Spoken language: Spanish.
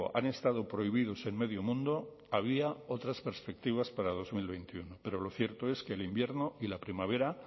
han estado prohibidos en medio mundo había otras perspectivas para dos mil veintiuno pero lo cierto es que el invierno y la primavera